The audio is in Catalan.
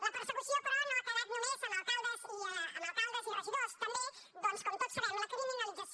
la persecució però no ha quedat només en alcaldes i regidors també doncs com tots sabem la criminalització